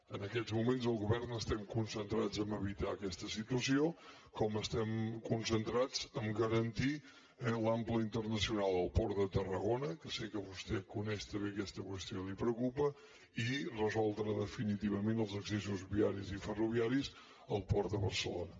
en aquests moments al govern estem concentrats a evitar aquesta situació com estem concentrats a garantir l’ample internacional al port de tarragona que sé que vostè coneix també aquesta qüestió i el preocupa i resoldre definitivament els accessos viaris i ferroviaris al port de barcelona